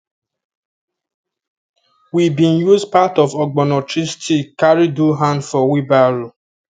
we been use part of ogbono tree stick carry do hand for wheel barrow